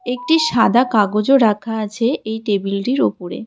একটি সাদা কাগজও রাখা আছে এই টেবিলটির ওপরে.